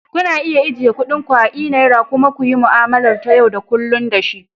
Kuna iya ajiye kuɗin ku a e-naira kuma ku yi mu'amala ta yau da kullun da shi.